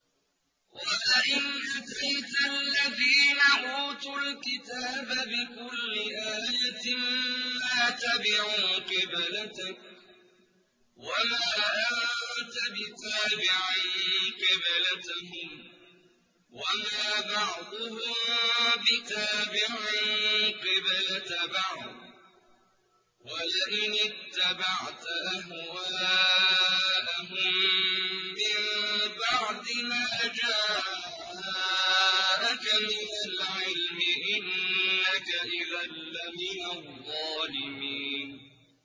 وَلَئِنْ أَتَيْتَ الَّذِينَ أُوتُوا الْكِتَابَ بِكُلِّ آيَةٍ مَّا تَبِعُوا قِبْلَتَكَ ۚ وَمَا أَنتَ بِتَابِعٍ قِبْلَتَهُمْ ۚ وَمَا بَعْضُهُم بِتَابِعٍ قِبْلَةَ بَعْضٍ ۚ وَلَئِنِ اتَّبَعْتَ أَهْوَاءَهُم مِّن بَعْدِ مَا جَاءَكَ مِنَ الْعِلْمِ ۙ إِنَّكَ إِذًا لَّمِنَ الظَّالِمِينَ